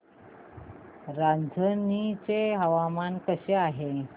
रांझणी चे हवामान कसे आहे